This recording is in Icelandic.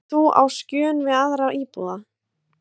Ert þú á skjön við aðra íbúa?